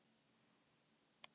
Forseti Alþingis var til svara.